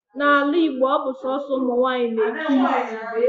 N'ala Igbo, ọ bụ sọọsọ ụmụnwaanyị na-eke isi